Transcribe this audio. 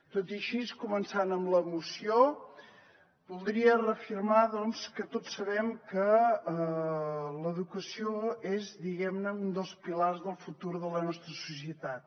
tot i així començant amb la moció voldria reafirmar doncs que tots sabem que l’educació és diguem ne un dels pilars del futur de la nostra societat